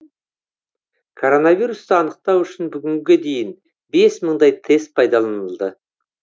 коронавирусты анықтау үшін бүгінге дейін бес мыңдай тест пайдаланылды